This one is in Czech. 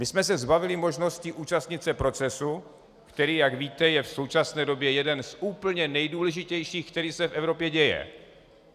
My jsme se zbavili možnosti účastnit se procesu, který, jak víte, je v současné době jeden z úplně nejdůležitějších, které se v Evropě dějí.